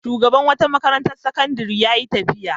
Shugaban wata makarantar sakandare ya yi tafiya.